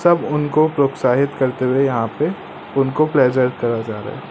सब उनको प्रोत्साहित करते हुए यहां पे उनको प्लेजर कर जा रहा--